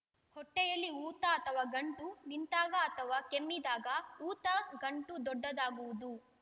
ಹೊಟ್ಟೆಯಲ್ಲಿ ಊತ ಅಥವಾ ಗಂಟು ನಿಂತಾಗ ಅಥವಾ ಕೆಮ್ಮಿದಾಗ ಊತ ಗಂಟು ದೊಡ್ಡದಾಗುವುದು